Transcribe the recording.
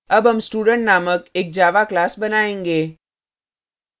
अब हम student named एक java class बनायेंगे